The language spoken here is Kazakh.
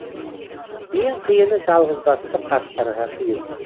ең қиыны жалғызбасты қарттарға қиын